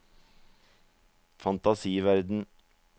fantasiverden